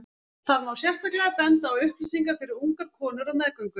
þar má sérstaklega benda á upplýsingar fyrir ungar konur á meðgöngu